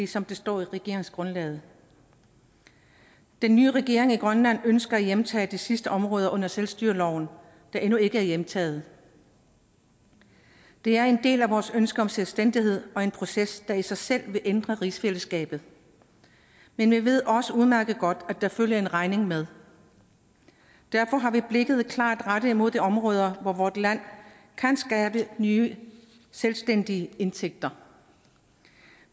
som der står i regeringsgrundlaget den nye regering i grønland ønsker at hjemtage de sidste områder under selvstyreloven der endnu ikke er hjemtaget det er en del af vores ønske om selvstændighed og en proces der i sig selv vil ændre rigsfællesskabet men vi ved også udmærket godt at der følger en regning med derfor har vi blikket klart rettet mod de områder hvor vort land kan skabe nye selvstændige indtægter